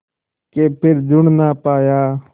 के फिर जुड़ ना पाया